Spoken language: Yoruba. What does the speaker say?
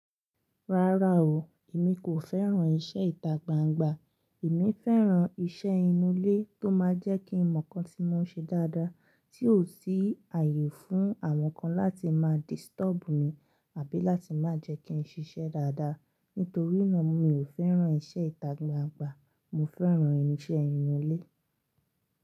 Rárá o, èmi kò fẹ́ràn iṣẹ́ ìtagbangba. Èmi fẹ́ràn iṣẹ́ inú ilé tó máa jẹ́ kí ń mọ̀ kan tí mò ń ṣe dáadáa tí ò sí ààyè fún àwọn kan láti máa disturb mi àbí láti má jẹ́ kí n ṣiṣẹ́ dáadáa. Nítorí náà mi ò fẹ́ràn iṣẹ́ ìtagbangba. Mo fẹ́ràn iṣẹ́ inú ilé.